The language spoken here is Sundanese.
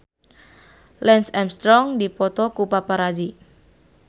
Lance Armstrong dipoto ku paparazi